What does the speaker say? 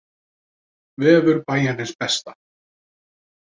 Vefur Bæjarins besta